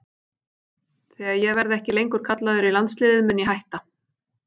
Þegar ég verði ekki lengur kallaður í landsliðið mun ég hætta.